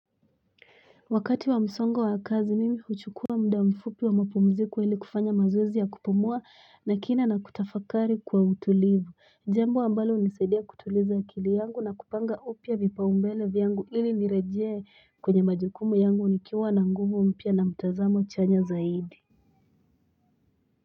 Wakati wa msongo wa kazi mimi huchukua muda mfupi wa mapumziko wa ili kufanya mazoezi ya kupumua na kina na kutafakari kwa utulivu jambo ambalo hunisaidia kutuliza akili yangu na kupanga upya vipaumbele vyangu ili nirejee kwenye majukumu yangu nikiwa na nguvu mpya na mtazamo chanya zaidi.